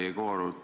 Härra Jegorov!